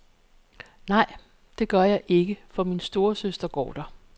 Nej, det gør jeg ikke, for min storesøster går der.